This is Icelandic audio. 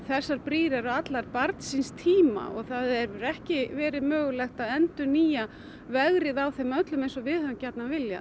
þessar brýr eru allar barn síns tíma það hefur ekki verið mögulegt að endurnýja vegrið á þeim öllum eins og við höfum gjarnan viljað